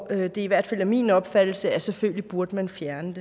er i hvert fald min opfattelse at selvfølgelig burde man fjerne